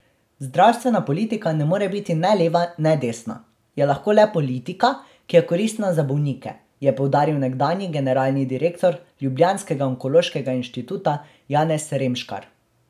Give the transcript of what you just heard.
Zdravstvena politika ne more biti ne leva ne desna, je lahko le politika, ki je koristna za bolnike, je poudaril nekdanji generalni direktor ljubljanskega onkološkega inštituta Janez Remškar.